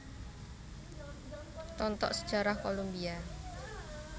Tontok Sejarah Kolombia